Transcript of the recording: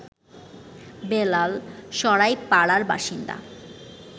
বেলাল সরাইপাড়ার বাসিন্দা